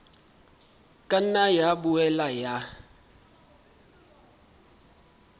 ka nna ya boela ya